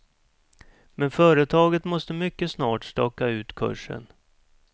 Men företaget måste mycket snart staka ut kursen.